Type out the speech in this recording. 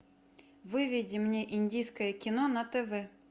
выведи мне индийское кино на тв